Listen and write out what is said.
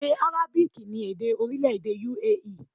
Èdè Arabic ni èdè orílẹ̀-èdè U.A.E